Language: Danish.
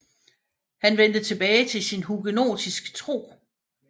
Han vendte tilbage til sin hugenotiske tro